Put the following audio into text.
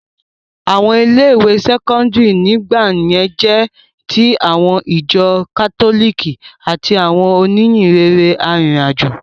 Àwọn ilé ìwé sẹ́kọ́ńdírì nígbà náà jẹ́ ti àwọn ìjọ kátólìkì àti àwọn òníhìnrere arìnrìn àjò.